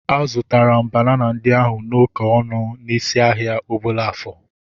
A zụtara banana ndị ahu n'oké ọnụ n'isi ahia Obollo-Afor